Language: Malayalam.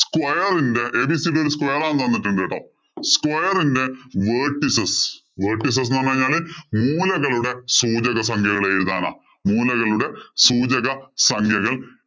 square ഇന്‍റെ ABCD ഒരു square ആന്ന് തന്നിട്ടുണ്ട് കേട്ടോ. Square ഇന്‍റെ vertices vertices എന്ന് പറഞ്ഞു കഴിഞ്ഞാല് മൂലകളുടെ സൂചക സംഖ്യകള്‍ എഴുതാന്‍ മൂലകളുടെ സൂചക സംഖ്യകള്‍